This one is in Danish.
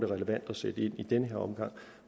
relevant at sætte ind i den her omgang